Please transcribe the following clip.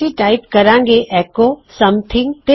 ਅਸੀਂ ਟਾਇਪ ਕਰਾਂਗੇ echo something